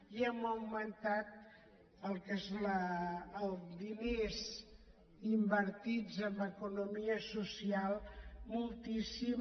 i hem augmentat el que són els diners invertits en economia social moltíssim